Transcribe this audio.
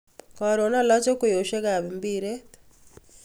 Koron oloche ngweyoshek kab mbiret